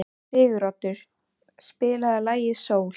Siguroddur, spilaðu lagið „Sól“.